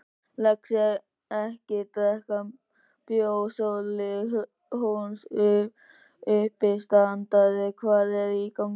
Lexía-ekki drekka bjór Sóli Hólm, uppistandari Hvað er í gangi?